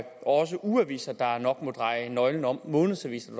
også er ugeaviser der nok må dreje nøglen om månedsaviser